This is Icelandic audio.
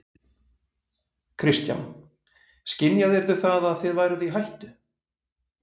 Kristján: Skynjaðirðu það að þið væruð í hættu?